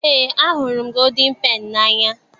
Eé, ahụrụ m gooldin peni n'anya.